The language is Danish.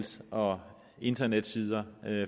og internetsider